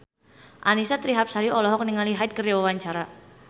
Annisa Trihapsari olohok ningali Hyde keur diwawancara